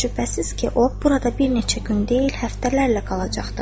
Şübhəsiz ki, o burada bir neçə gün deyil, həftələrlə qalacaqdır.